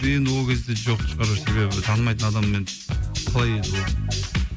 енді ол кезде жоқ шығар себебі танымайтын адаммен қалай енді ол